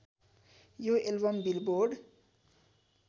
यो album billboard